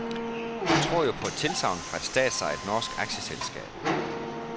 Man tror jo på et tilsagn fra et statsejet norsk aktieselskab.